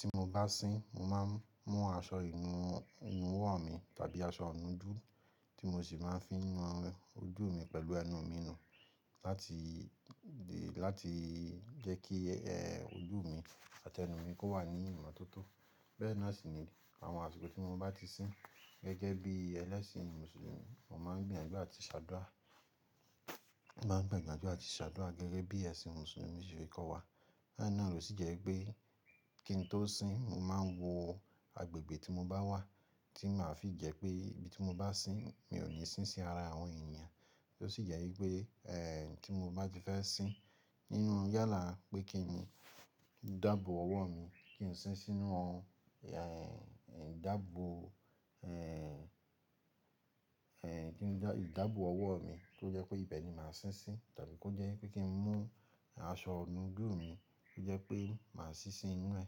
Ti mo bá sín, mo máa ń mú aṣọ ìnuwọ́ mi tàbí aṣọ ọ̀nà ojú tí mo sì máa ń fi nu ojú mi pẹ̀lú ẹnu mi nù láti jẹ́ kí ojú mi àti ẹnu mi kó wà ní ìmọ́tótó. Bẹ́ẹ̀ náà sì ni àwọn àsìkò tí mo bá ti sín gẹ́gẹ́ bí ẹlẹ́sìn Mùsùlùmí, mo máa ń gbìyànjú àti ṣàdúà. Mo máa ń gbìyànjú àti ṣàdúà gẹ́gẹ́ bí ẹ̀sìn Mùsùlùmí ṣe kọ́ wa. Be náà ló sì jẹ́ pé kí n tó sín, mo máa ń wo agbègbè tí mo bá wà tí màá fi jẹ́ pé ibi tí mo bá sín, mi ò ní sín sí ara àwọn ènìyàn. Ó sì jẹ́ wípé kí n bá ti fẹ́ sín nínú yálà pé kí n dàbò ọwọ́ mi, kí n sín sínú ọ̀n dàbò, kí n dàbò ọwọ́ mi tó jẹ́ pé ìbẹ ni màá sín sí tàbí kí ó jẹ́ pé kí n mú aṣọ inu ojú mi tó jẹ́ pé màá sín sí inú ẹ̀.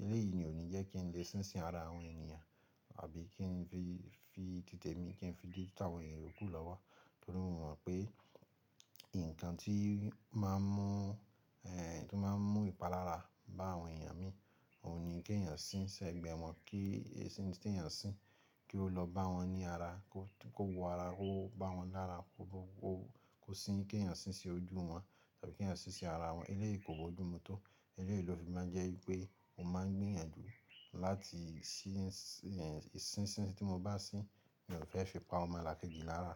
Eléyìí ni ò ní jẹ́ kí n lè sín sí ara àwọn ènìyàn àbí kí n fi títẹ̀ mi kí n fi dẹ́ tàwọn ènìyàn kú lọ́wọ́. Nítorí mo mọ̀ pé nǹkan tí ó máa ń mú ìpalára bá àwọn ènìyàn mi òun ni kí ẹ̀yàn sín ṣẹ́ gbẹ́ mọ́ kí ẹṣin tí ẹ̀yàn sín kí ó lọ bá wọn ní ara, kó wo ara, kó bá wọn lára, kó sín kí ẹ̀yàn sín sí ojú wọn tàbí kí ẹ̀yàn sín sí ara wọn. Eléyìí kò boju mú tó. Eléyìí ló fi máa ń jẹ́ wípé mo máa ń gbìyànjú láti sín ẹṣin tí mo bá sín, mi ò fẹ́ fi pa ọmo lakeji lara.